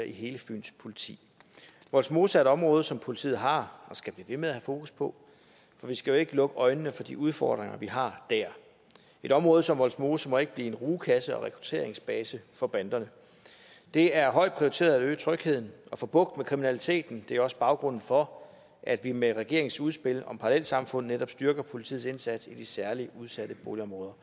i hele fyns politi vollsmose område som politiet har og skal blive ved med at have fokus på for vi skal jo ikke lukke øjnene for de udfordringer vi har der et område som vollsmose må ikke blive en rugekasse og rekrutteringsbase for banderne det er højt prioriteret at øge trygheden og få bugt med kriminaliteten det er også baggrunden for at vi med regeringens udspil om parallelsamfund netop styrker politiets indsats i de særligt udsatte boligområder